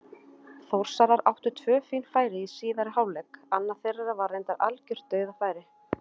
Þórsarar áttu tvö fín færi í síðari hálfleik, annað þeirra var reyndar algjört dauðafæri.